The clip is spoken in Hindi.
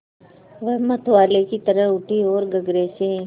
वह मतवाले की तरह उठी ओर गगरे से